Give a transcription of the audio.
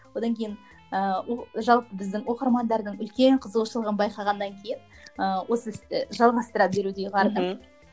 одан кейін ыыы ол жалпы біздің оқырмандардың үлкен қызығушылығын байқағаннан кейін ыыы осы істі жалғастыра беруді ұйғардым мхм